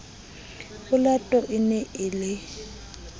olato e ne e le